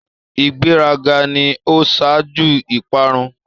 ìgbé rà gà ni o ṣaju ìparun.